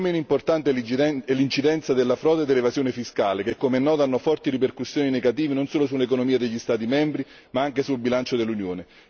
Non meno importante è l'incidenza della frode e dell'evasione fiscale, che come noto hanno forti ripercussioni negative non solo sull'economia degli Stati membri ma anche sul bilancio dell'Unione.